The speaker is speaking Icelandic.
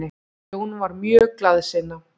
Jón var mjög glaðsinna.